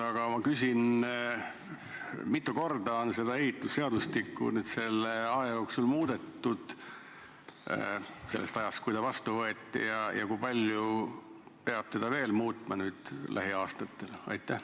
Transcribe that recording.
Aga ma küsin, mitu korda on seda ehitusseadustikku selle aja jooksul – alates ajast, kui see vastu võeti – muudetud ja kui palju peab seda lähiaastatel veel muutma.